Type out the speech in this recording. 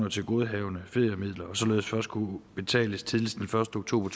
af tilgodehavende feriemidler og således først kunne udbetales tidligst den første oktober